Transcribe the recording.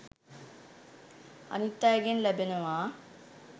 අනිත් අයගෙන් ලැබෙනවා.